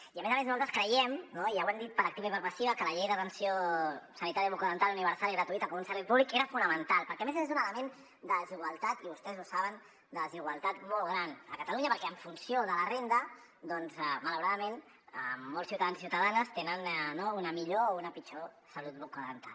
i a més a més nosaltres creiem i ja ho hem dit per activa i per passiva que la llei d’atenció sanitària bucodental universal i gratuïta com un servei públic era fonamental perquè a més és un element de desigualtat i vostès ho saben molt gran a catalunya perquè en funció de la renda malauradament molts ciutadans i ciutadanes tenen una millor o una pitjor salut bucodental